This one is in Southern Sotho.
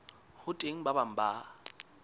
ho teng ba bang ba